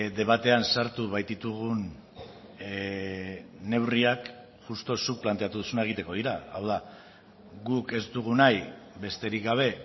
debatean sartu baititugun neurriak justu zuk planteatu duzuna egiteko dira hau da guk ez dugu nahi besterik gabe